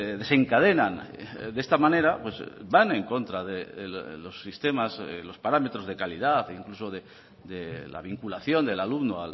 desencadenan de esta manera van en contra de los sistemas de los parámetros de calidad e incluso de la vinculación del alumno